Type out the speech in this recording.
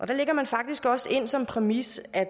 der lægger man faktisk også ind som præmis at